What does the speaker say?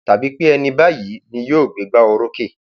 tàbí pé ẹni báyìí ni yóò gbé ìgbà orókè